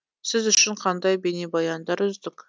сіз үшін қандай бейнебаяндар үздік